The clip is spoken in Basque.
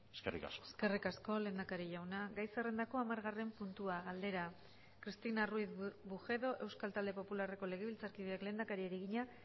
eskerrik asko eskerrik asko lehendakari jauna gai zerrendako hamargarren puntua galdera cristina ruiz bujedo euskal talde popularreko legebiltzarkideak lehendakariari egina